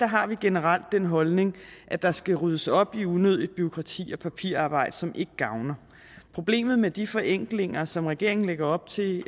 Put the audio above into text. har vi generelt den holdning at der skal ryddes op i unødigt bureaukrati og papirarbejde som ikke gavner problemet med de forenklinger som regeringen lægger op til